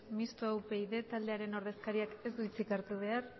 mistoa upyd taldearen ordezkariak ez du hitzik hartu behar